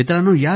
मित्रांनो